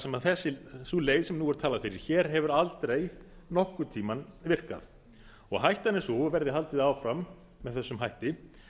sem sú leið sem nú er talað fyrir hér hefur aldrei nokkurn tíma virkað hættan er sú að verði haldið áfram með þessum hætti